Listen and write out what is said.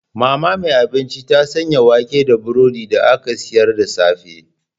Mama mai abinci ta sanya wake da burodi da aka sayar da safe.